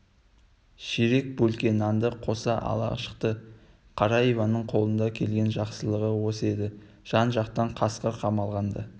ширек бөлке нанды қоса ала шықты қара иванның қолынан келген жақсылығы осы еді жан-жақтан қасқыр қамалағанда